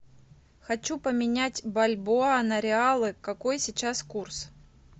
хочу поменять бальбоа на реалы какой сейчас курс